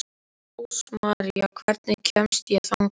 Rósmarý, hvernig kemst ég þangað?